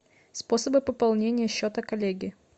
способы пополнения счета коллеги